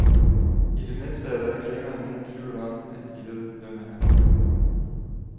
I det mindste er der ikke længere nogen tvivl om, at de ved, hvem han er.